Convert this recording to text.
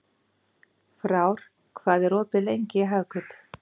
Frár, hvað er opið lengi í Hagkaup?